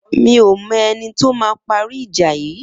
Mi ó mọ ẹni tó mà pàrí ijà yi